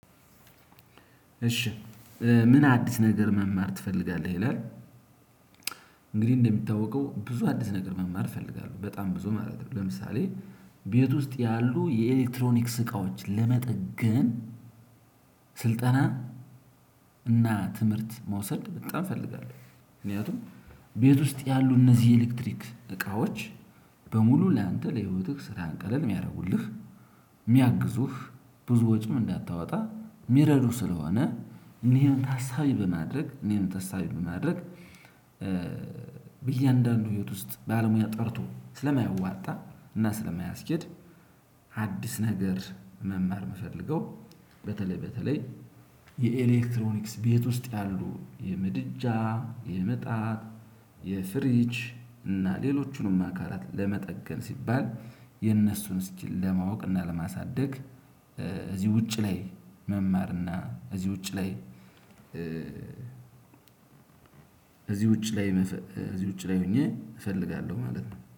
እሺ "ምን አዲስ ነገር መማር ትፈልጋለህ?" ይላል። እንግዲህ እንደሚታወቀው ብዙ አዲስ ነገር መማር እፈልጋለሁ፤ በጣም ብዙ ማለት ነው። ለምሳሌ ቤት ውስጥ ያሉ የኤሌክትሮኒክስ እቃዎች ለመጠገን ስልጠና እና ትምህርት መውሰድ በጣም እፈልጋለሁ። ምክንያቱም ቤት ውስጥ ያሉ እነዚህ ኤሌክትሪክ እቃዎች በሙሉ ላንተ ለህይወትህ ስራህን ቀለል የሚያደርጉልህ የሚያግዙህ ብዙ ወጪም እንዳታወጣ የሚረዱህ ስለሆነ እና ይሄን ታሳቢ በማድረግ እና ትሄን ታሳቢ በማድረግ በእያንዳንዱ ህይወት ውስጥ ባለሙያ ጠርቶ ስለማያዋጣ እና ስለማያስኬድ አዲስ ነገር መማር የምፈልገው በተለይ በተለይ የኤሌክትሮኒክስ ቤት ውስጥ ያሉ የምድጃ፣ የምጣድ፣ የፍሪች እና ሌሎቹንም አካላት ለመጠገን ሲባል የነሱን ስኪል ለማወቅና ለማሳደግ እዚህ ውጪ ላይ መማርና እዚህ ውጭ ላይ እዚህ ውጭ ላይ እዚህ ውጭ ላይ ሆኜ እፈልጋለሁ ማለት ነው።